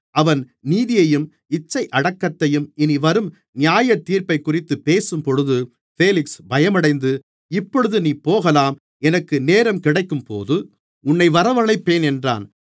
அவன் நீதியையும் இச்சையடக்கத்தையும் இனிவரும் நியாயத்தீர்ப்பைக்குறித்துப் பேசும்போது பேலிக்ஸ் பயமடைந்து இப்பொழுது நீ போகலாம் எனக்கு நேரம் கிடைக்கும்போது உன்னை வரவழைப்பேன் என்றான்